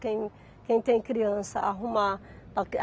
Quem quem tem criança, arrumar para.